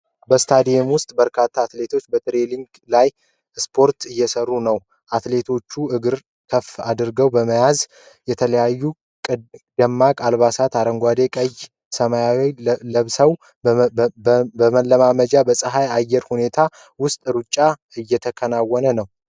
በስታዲየም ውስጥ በርካታ አትሌቶች በትሬኒንግ ላይ ስፖርት እየሰሩ ነው። አትሌቶቹ እግርን ከፍ አድርጎ በመዘርጋት የተለያዩ ደማቅ አልባሳት (አረንጓዴ፣ ቀይ፣ ሰማያዊ) ለብሰዋል። መልመጃው በፀሐይማ የአየር ሁኔታ ውስጥ በሩጫ እየተከናወነ ነው።